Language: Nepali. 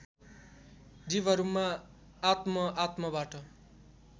जीवहरूमा आत्म आत्मबाट